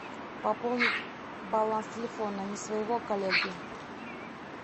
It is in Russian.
пополнить баланс телефона не своего коллеги